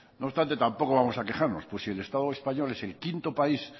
no obstante tampoco vamos a quejarnos pues si el estado español es el quinto país